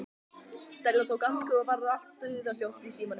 Stella tók andköf og svo varð allt dauðahljótt í símanum.